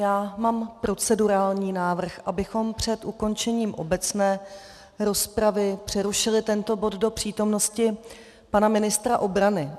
Já mám procedurální návrh, abychom před ukončením obecné rozpravy přerušili tento bod do přítomnosti pana ministra obrany.